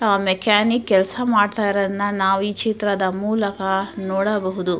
Mechanic ಕೆಲಸ ಮಾಡುತ ಇರದನ್ನ ನಾವು ಈ ಚಿತ್ರದ ಮೂಲಕ ನಾವು ನೋಡಬಹುದು.